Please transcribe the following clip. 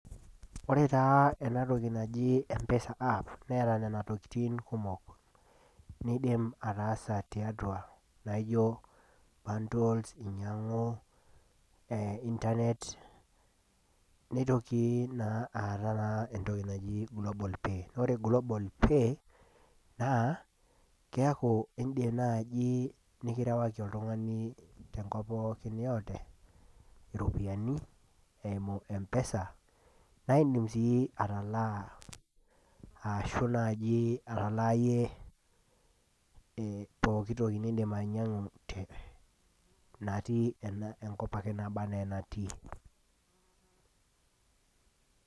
Ore taa ena toki naji mpesa naa neeta Nena tokitin kumok. niidim ataasa tiatua naijo, bundles ainyiangu, internet .neitoki naa aata naa entoki naji global pay. ore global pay naa keeku idim naaji nikirewaki oltungani pookin yeyote iropiyiani eimu empesa naa idim sii atalaa ashu naaji atalaa iyie ee pooki toki nidim ainyiangu tene. atik enkop pookin naba anaa enatii.